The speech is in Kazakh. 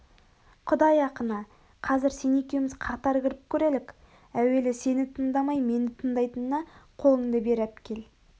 құдай ақына қазір сен екеуміз қатар кіріп көрелік әуелі сені тындамай мені тындайтынына қолынды бері әпкелі